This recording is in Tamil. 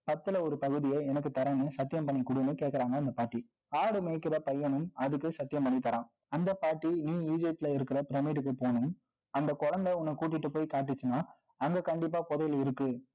பத்துல, ஒரு பகுதியை, எனக்கு தர்றேன்னு, சத்தியம் பண்ணி குடுன்னு, கேட்குறாங்க, அந்த பாட்டி ஆடு மேய்க்கிற பையனும், அதுக்கு சத்தியம் பண்ணி தரான். அந்த பாட்டி, இனி egypt ல இருக்குற pyramid போகனும். அந்த குழந்தை, உன்னை கூட்டிட்டு போய் காட்டுச்சுன்னா, அங்க கண்டிப்பா புதையல் இருக்கு